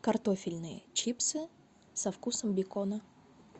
картофельные чипсы со вкусом бекона